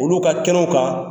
Olu ka kɛnɛw kan.